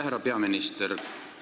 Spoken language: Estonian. Härra peaminister!